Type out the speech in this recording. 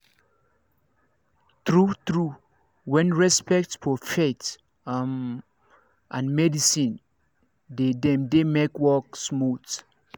true true when respect for faith um and medicine de dem de make work smooth